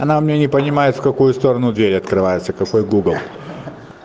она у меня не понимает в какую сторону дверь открывается какой гугл